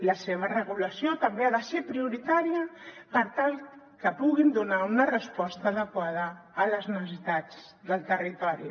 la seva regulació també ha de ser prioritària per tal que puguin donar una resposta adequada a les necessitats del territori